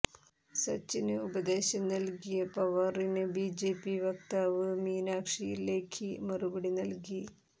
സച്ചിന് ഉപദേശം നല്കിയ പവാറിന് ബിജെപി വാക്താവ് മീനാക്ഷി ലേഖി മറുപടി നല്കി